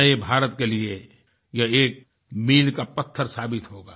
नए भारत के लिए ये एक मील का पत्थर साबित होगा